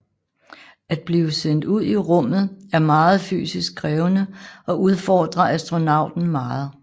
At blive sendt ud i rummet er meget fysisk krævende og udfordrer astronauten meget